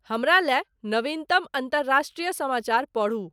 हमरा लए नविन्तम अंतरराष्ट्रीय समाचार पढू।